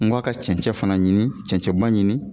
N ko a ka cɛncɛn fana ɲini cɛncɛnba ɲini.